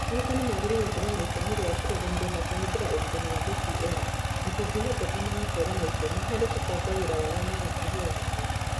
Arutani magĩrĩirũo gũkorũo na itemi rĩa kũrũgamia na kũhũthĩra ũrutani wa DPL, na kũngĩhoteka magakorũo na itemi harĩ kũbanga wĩra wao na gũkũria ũhoti wao